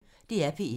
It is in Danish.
DR P1